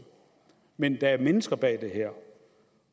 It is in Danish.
men der er mennesker bag det her